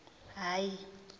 hhayi